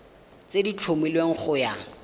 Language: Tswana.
tse di tlhomilweng go ya